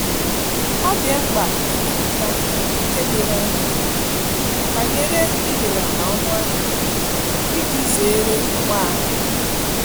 Ọ dị mkpa ikwupụta ókè doro anya banyere ibelata ọnụahịa iji zere ọgba aghara.